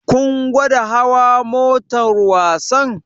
Kun gwada hawa motar wasan?